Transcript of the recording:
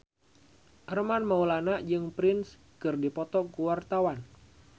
Armand Maulana jeung Prince keur dipoto ku wartawan